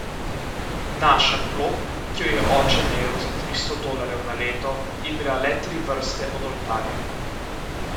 Naša klop, ki jo je oče najel za tristo dolarjev na leto, je bila le tri vrste od oltarja.